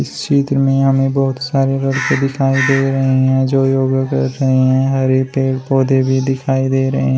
इस चित्र में हमें बहोत सारे व्यक्ति दिखाई दे रहे हैं जो योगा कर रहे हैं हरे पेड़ पौधे भी दिखाई दे रहे हैं।